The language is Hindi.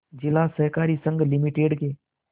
जिला सहकारी संघ लिमिटेड के